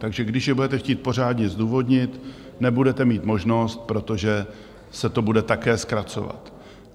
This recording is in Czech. Takže když je budete chtít pořádně zdůvodnit, nebudete mít možnost, protože se to bude také zkracovat.